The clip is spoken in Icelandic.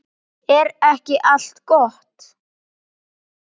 Er ekki allt gott?